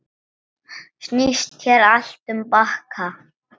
Snýst hér allt um bakka.